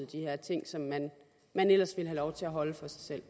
her ting som man man ellers ville have lov til at holde for sig selv